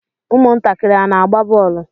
Ụmụntakịrị a na-agba bọọlụ?